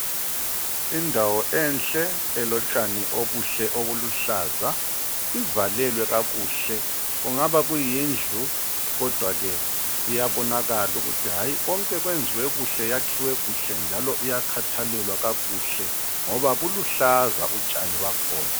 Indawo enhle elotshani obuhle obuluhlaza ivalelwe kakuhle kungaba kuyindlu kodwa ke iyabonakala yakhiwe kuhle njalo iyakhathalelwa kakuhle ngoba kuluhlaza utshani lwakhona.